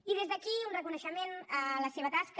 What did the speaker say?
i des d’aquí un reconeixement a la seva tasca